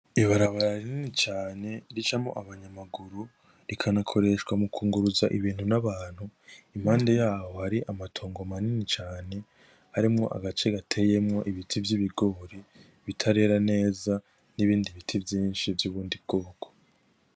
Ibarabara rinini cane ricamwo aba nyamaguru rikanakoreshwa mu kunguruza ibintu n'abantu, impande yaho hari amatongo manini cane, harimwo agace gateyemwo ibiti vy'ibigori bitarera neza n'ibindi biti vyinshi vy'ubundi bwoko.